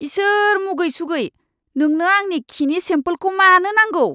इसोर मुगै सुगै। नोंनो आंनि खिनि सेमपोलखौ मानो नांगौ?